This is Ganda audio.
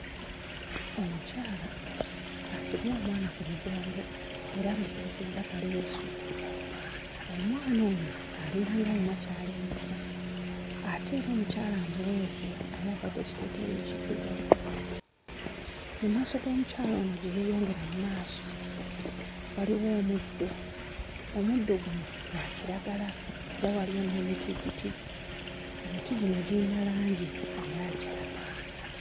Omukyala asibye omwana ku mugongo era amusibisizza kaleesu. Omwana ono alinganga ayina ky'alingiza ate era omukyala amuweese, ayambadde ekiteeteeyi ekiddugavu. Mu maaso g'omukyala ono gye yeeyongera mu maaso waliwo omuddo; omuddo guno gwa kiragala era waliyo n'emitiititi, emiti gino giyina langi eya kitaka.